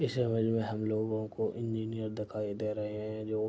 इस इमेज में हम लोगो को इंजीनियर दिखाई दे रहे है जो --